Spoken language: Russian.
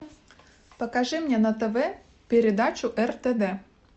покажи мне на тв передачу ртд